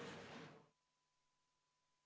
Istungi lõpp kell 14.17.